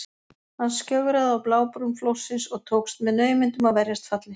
Hann skjögraði á blábrún flórsins og tókst með naumindum að verjast falli.